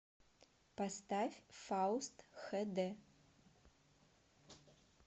поставь фауст хэ дэ